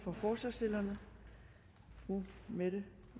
for forslagsstillerne fru mette